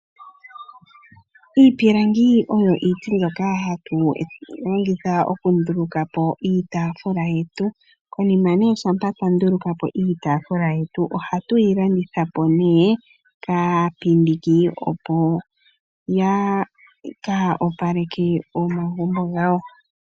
Iipilangi oyo iiti mbyoka hatu longitha okunduluka po iitaafula yetu. Konima shampa twa nduluka po iitaafula yetu ohatu yi landitha po kaapindiki, opo ya ka opaleke omagumbo gawo.